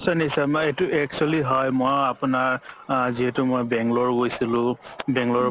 নিশ্চয় নিশ্চয় এইটো actually হয় মইও আপোনাৰ আ যিহেতু মই বনংলোৰে গৈছিলো বনংলোৰৰ পৰা